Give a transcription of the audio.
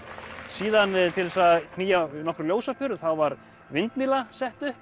síðan til þess að knýja nokkrar ljósaperur þá var vindmylla sett upp